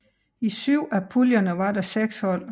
I syv af puljerne var der seks hold